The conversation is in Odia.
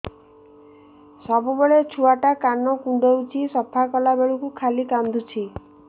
ସବୁବେଳେ ଛୁଆ ଟା କାନ କୁଣ୍ଡଉଚି ସଫା କଲା ବେଳକୁ ଖାଲି କାନ୍ଦୁଚି